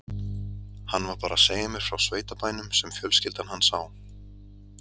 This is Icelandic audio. Hann var bara að segja mér frá sveitabænum sem fjölskyldan hans á.